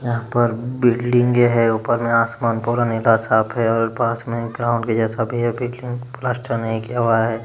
यहां पर बिल्डिंगे है ऊपर में आसमान पूरा नीला साफ़ है और पास में ग्राउंड के जैसा भी है भी लेकिन प्लास्टर नहीं किया हुआ है।